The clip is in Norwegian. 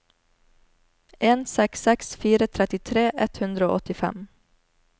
en seks seks fire trettitre ett hundre og åttifem